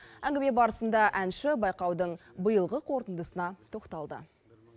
әңгіме барысында әнші байқаудың биылғы қорытындысына тоқталды